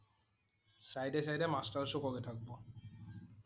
Side এ side এ masters কৰি থাকিব।